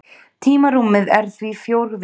Tímarúmið er því fjórvítt.